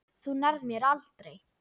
Þú nærð mér aldrei.